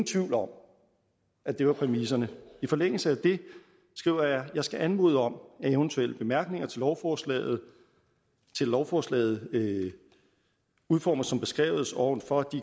tvivl om at det var præmisserne i forlængelse af det skrev jeg jeg skal anmode om at eventuelle bemærkninger til lovforslaget lovforslaget udformet som beskrevet ovenfor